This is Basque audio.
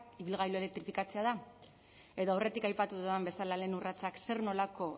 ibilgailu elektrifikatzea da edo aurretik aipatu dudan bezala lehen urratsak zer nolako